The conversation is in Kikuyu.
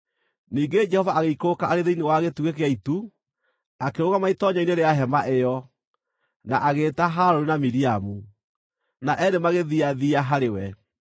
Ningĩ Jehova agĩikũrũka arĩ thĩinĩ wa gĩtugĩ gĩa itu, akĩrũgama itoonyero-inĩ rĩa Hema ĩyo, na agĩĩta Harũni na Miriamu. Na eerĩ magĩthiathia harĩ we,